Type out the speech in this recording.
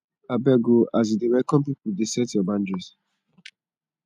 abeg o as you dey welcome pipu dey set your boundaries